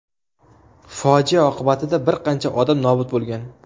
Fojia oqibatida bir qancha odam nobud bo‘lgan.